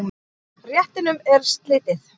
Réttinum er slitið.